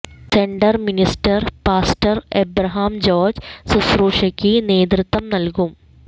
centre minister pastor Abraham George ശുശ്രുക്ഷയ്ക്ക് നേതൃത്വം നൽകും